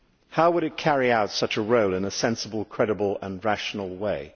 How would it carry out such a role in a sensible, credible and rational way?